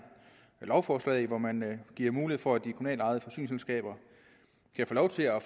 lovforslag hvor man giver mulighed for at de kommunalt ejede forsyningsselskaber kan få lov til at